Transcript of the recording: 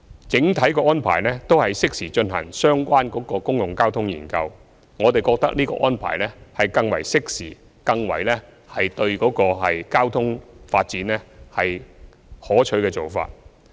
整體安排都是適時進行相關的公共交通研究，我們覺得這安排是更為適時，對交通發展更為可取的做法。